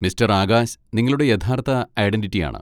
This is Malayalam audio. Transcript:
മിസ്റ്റർ ആകാശ് നിങ്ങളുടെ യഥാർത്ഥ ഐഡന്റിറ്റിയാണ്.